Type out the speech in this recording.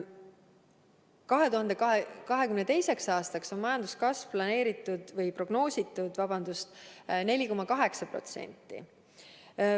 2022. aastaks on majanduskasvu prognoositud 4,8%.